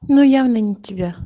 ну явно не тебя